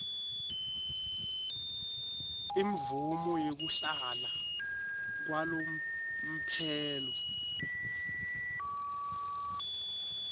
imvumo yekuhlala kwalomphelo